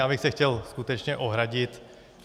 Já bych se chtěl skutečně ohradit.